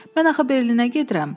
Mən axı Berlinə gedirəm.